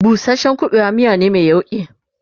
busashen ƙuɓewa miya ne Mai yauƙi